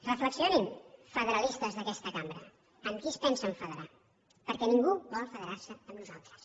reflexionin federalistes d’aquesta cambra amb qui es pensen federar perquè ningú vol federar se amb nosaltres